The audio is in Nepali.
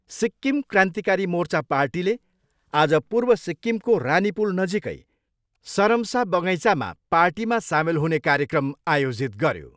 सिक्किम क्रान्तिकारी मोर्चा पार्टीले आज पूर्व सिक्किमको रानीपुल नजिकै सरमसा बगैँचामा पार्टीमा सामेल हुने कार्यक्रम आयोजित गऱ्यो।